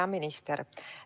Hea minister!